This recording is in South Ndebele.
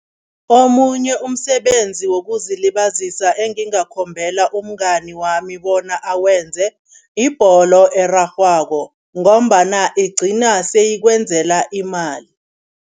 Omunye umsebenzi wokuzilibazisa engingakhombela umngani wami bona awenze yibholo erarhwako ngombana igcina seyikwenzela imali.